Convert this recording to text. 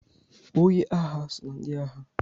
Onye agha so na ndị agha